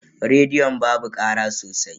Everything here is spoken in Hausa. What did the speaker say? Rediyon babu kara sosai.